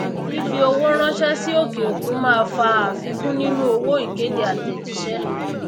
fífi owó ránsé sí òkè òkun máa fa àfikún nínú owó ìkéde àtèjísé